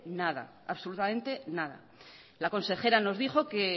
nada absolutamente nada la consejera nos dijo